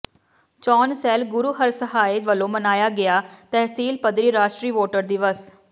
ਚੋਣ ਸੈੱਲ ਗੁਰੂਹਰਸਹਾਏ ਵਲੋਂ ਮਨਾਇਆ ਗਿਆ ਤਹਿਸੀਲ ਪੱਧਰੀ ਰਾਸ਼ਟਰੀ ਵੋਟਰ ਦਿਵਸ